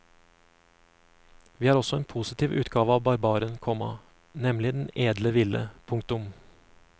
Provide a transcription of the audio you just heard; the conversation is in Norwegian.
Vi har også en positiv utgave av barbaren, komma nemlig den edle ville. punktum